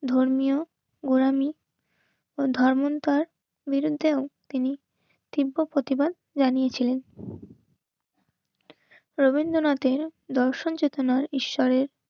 ধর্মীয় ওড়ামি ও ধর্মান্তর বিরুদ্ধেও তিনি তীব্র প্রতিবাদ জানিয়ে ছিলেন রবীন্দ্রনাথের দর্শন চেতনার ঈশ্বরের